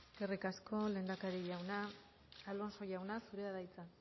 eskerrik asko lehendakari jauna alonso jauna zurea da hitza